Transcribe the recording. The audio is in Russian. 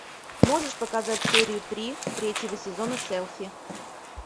можешь показать серию три третьего сезона селфи